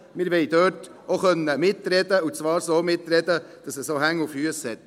Wir wollen dort auch mitreden können, und zwar so, dass es Hand und Fuss hat.